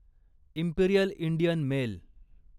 Imperial Indian mail